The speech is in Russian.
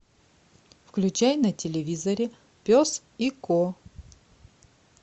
включай на телевизоре пес и ко